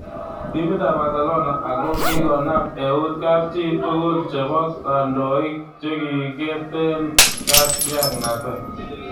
Timit ab Barcelona ako kikonam eut kapchi tugul chebo kandoik chikikeeten katiangnatet.